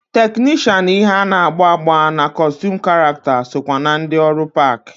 Teknishan ihe ana-agba agba na kọstum karakta sokwa na ndi ọrụ park.